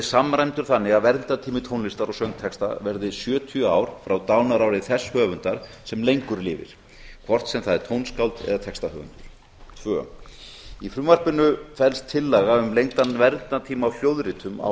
samræmdur þannig að verndartími tónlistar og söngtexta verði sjötíu ár frá dánarári þess höfundar sem lengur lifir hvort sem það er tónskáld eða textahöfundur annað í frumvarpinu felst tillaga um lengdan verndartíma á hljóðritum á